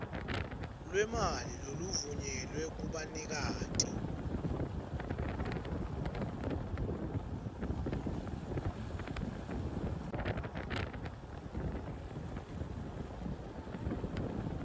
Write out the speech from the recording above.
lwemali loluvunyelwe kubanikati